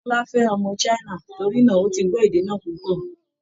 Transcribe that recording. Bọ́lá fẹ́ ọmọ China, torí náa, ó ti gbọ́ èdè náa púpọ̀